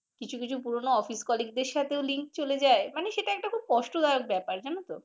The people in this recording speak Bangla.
কিছু কিছু পুরনো office colleague দের সাথেও link চলে যায় মানে সেটা একটা খুবকষ্টদায়ক ব্যাপার জানত।